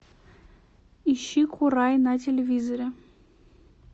ищи курай на телевизоре